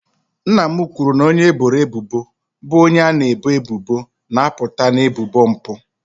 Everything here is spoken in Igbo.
Nna m kwuru na onye eboro ebubo bụ onye a na-ebo ebubo na-apụta na ebubo mpụ.